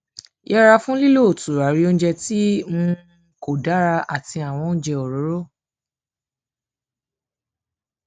yẹra fún lílo turari oúnjẹ tí um kò dára àti àwọn oúnjẹ òróró